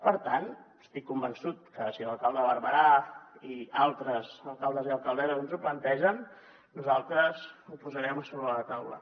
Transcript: per tant estic convençut que si l’alcalde de barberà i altres alcaldes i alcaldesses ens ho plantegen nosaltres ho posarem a sobre de la taula